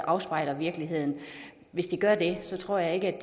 afspejler virkeligheden hvis de gør det tror jeg ikke at